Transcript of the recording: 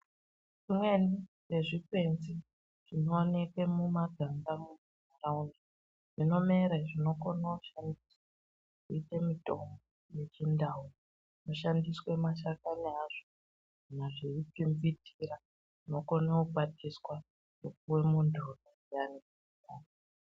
Zvimweni zvezvikwenzi zvinooneke mumaganga mundau medu zvinomere zvinokone kushandiswa kuite mutombo yechindau zvinoshandiswe mashakani azvo kana zveipindidzira, zvinokone kukwatiswa zvopuwe muntu unenge eirwara.